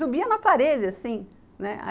Subia na parede, assim, né?